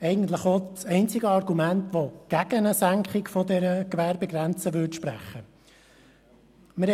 Es war eigentlich auch das einzige Argument, das gegen eine Senkung der Gewerbegrenze gesprochen hätte.